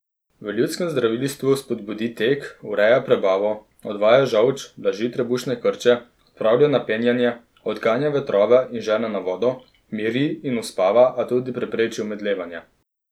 V ljudskem zdravilstvu spodbudi tek, ureja prebavo, odvaja žolč, blaži trebušne krče, odpravlja napenjanje, odganja vetrove in žene na vodo, miri in uspava, a tudi prepreči omedlevanje.